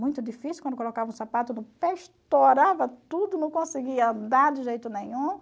Muito difícil, quando colocava o sapato, no pé estourava tudo, não conseguia andar de jeito nenhum.